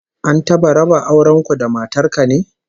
An taba raba auren ku da matar ka ne?